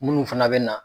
Minnu fana bɛ na